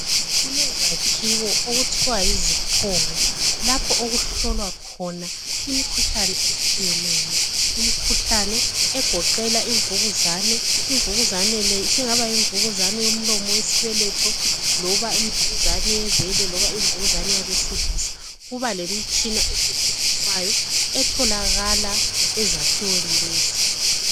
Kulezakhiwo okuthiwa yizikhongo lapho okuhlolwa khona imikhuhlane etshiyeneyo Imikhuhlane egoqela imvukuzane. Imvukuzane le isingaba yimvukuzane yomlomo wesibeletho loba imvukuzane yebele loba imvukuzane yabesilisa Kuba lemitshina esetshenziswayo etholakala ezakhiweni lezi